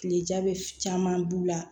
Kilejabɛ caman b'u la